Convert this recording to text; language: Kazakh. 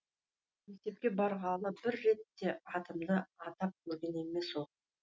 мектепке барғалы бір рет те атымды атап көрген емес ол